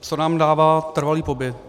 Co nám dává trvalý pobyt.